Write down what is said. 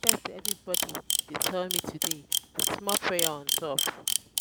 everybodi dey tell me today wit small prayer on top.